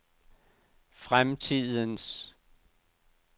fremtidens